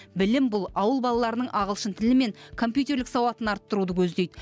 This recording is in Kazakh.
білім бұл ауыл балаларының ағылшын тілі мен компьютерлік сауатын арттыруды көздейді